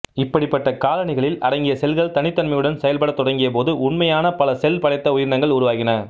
இப்படிப்பட்ட காலனிகளில் அடங்கிய செல்கள் தனித்தன்மையுடன் செயல்படத் தொடங்கியபோது உண்மையான பல செல் படைத்த உயிரினங்கள் உருவாகின